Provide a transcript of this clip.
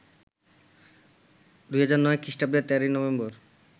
২০০৯ খ্রিষ্টাব্দের ১৩ নভেম্বর